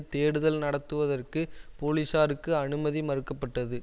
தேடுதல் நடத்துவதற்கு போலிசாருக்கு அனுமதி மறுக்க பட்டது